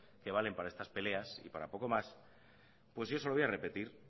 que valen para estas peleas y para poco más pues yo se lo voy a repetir